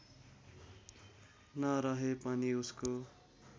नरहे पनि उसको